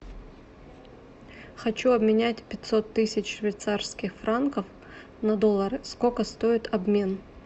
хочу обменять пятьсот тысяч швейцарских франков на доллары сколько стоит обмен